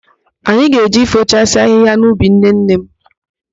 Ạnyị ga-eje ifochasi ahịhịa n'ubi nnenne m.